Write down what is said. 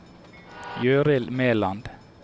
Gøril Mæland